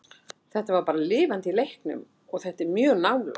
Þetta var bara lifandi í leiknum og þetta er mjög nálægt.